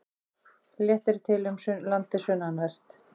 Léttir til um landið sunnanvert